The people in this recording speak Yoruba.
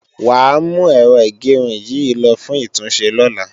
Wàá mú Ẹ̀rọ ìgẹrun yìí lo fún ìtúnṣe lọ́la